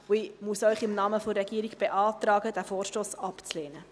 Ich muss Ihnen im Namen der Regierung beantragen, diesen Vorstoss abzulehnen.